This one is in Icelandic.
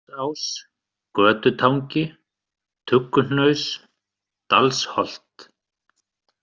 Grænadalsás, Götutangi, Tugguhnaus, Dalsholt